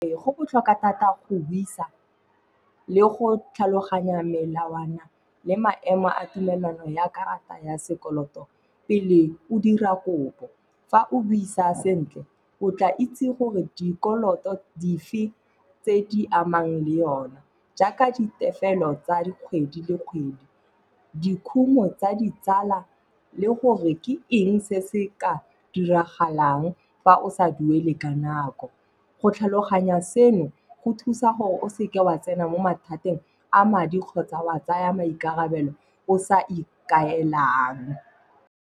Go botlhokwa thata go buisa le go tlhaloganya melawana le maemo a tumelano ya karata ya sekoloto pele o dira kopo. Fa o buisa sentle, o tla itse gore dikoloto dife tse di amang le yona. Jaaka ditefelo tsa dikgwedi le kgwedi, dikhumo tsa ditsala le gore ke eng se se ka diragalang fa o o sa duele ka nako. Go tlhaloganya seno go thusa gore o seke wa tsena mo mathateng a madi kgotsa wa tsaya maikarabelo o sa ikaelang.